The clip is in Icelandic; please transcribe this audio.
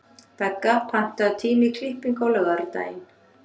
Begga, pantaðu tíma í klippingu á laugardaginn.